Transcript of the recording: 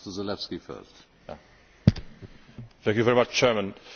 Dobrze, że w Kosowie obserwujemy pozytywne sygnały.